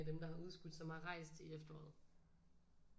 Af dem der har udskydt som har rejst i efteråret